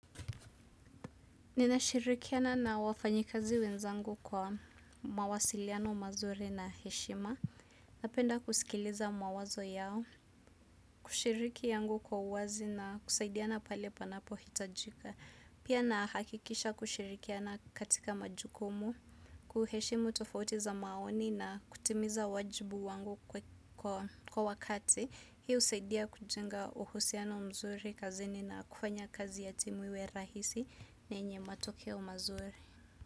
Ninashirikiana na wafanyikazi wenzangu kwa mawasiliano mazuri na heshima, napenda kusikiliza mawazo yao, kushiriki yangu kwa uwazi na kusaidiana pale panapo hitajika, pia nahakikisha kushirikiana katika majukumu, kuheshimu tofauti za maoni na kutimiza wajibu wangu kwa wakati. Hiyo usaidia kujunga uhusiano mzuri kazini na kufanya kazi ya timu iwe rahisi yenye matokeo umazuri.